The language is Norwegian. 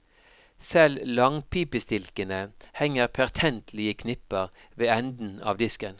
Selv langpipestilkene henger pertentlig i knipper ved enden av disken.